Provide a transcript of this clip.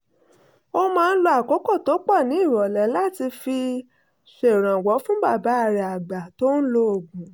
ó máa ń lo àkókò tó pọ̀ ní ìrọ̀lẹ́ láti fi ṣèrànwọ́ fún bàbá rẹ̀ àgbà tó ń lo oògùn